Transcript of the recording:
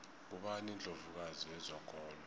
ngubani indlovu kazi yezokolo